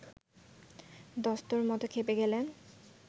দস্তুরমত খেপে গেলেন